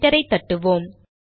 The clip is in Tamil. என்டரை தட்டுவோம்